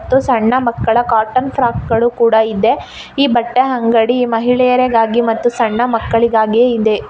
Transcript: ಸಣ್ಣ ಮಕ್ಕಳ cotton frock ಗಳು ಕೂಡ ಇದೆ. ಈ ಬಟ್ಟೆ ಅಂಗಡಿ ಮಹಿಳೆಯರಿಗಾಗಿ ಮತ್ತು ಸಣ್ಣ ಮಕ್ಕಳಿಗಾಗಿ ಇದೆ.